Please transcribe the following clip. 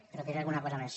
però diré alguna cosa més